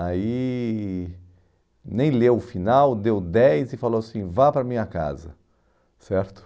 Aí, nem leu o final, deu dez e falou assim, vá para a minha casa, certo?